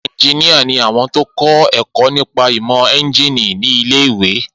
Eunjíníyà ni àwọn tó kọ́ ẹ̀kọ́ nípa ìmọ̀ éúnjínì ní ilé-ìwé